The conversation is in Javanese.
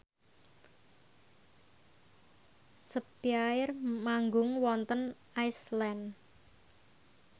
spyair manggung wonten Iceland